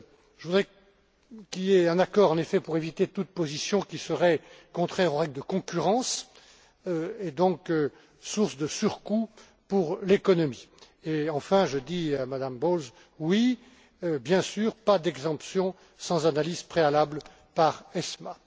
Je voudrais qu'il y ait un accord, en effet, pour éviter toute position qui serait contraire aux règles de concurrence et donc source de surcoûts pour l'économie. Enfin, je dis à Madame Bowles Oui, bien sûr, pas d'exemptions sans analyse préalable par l'ESMA.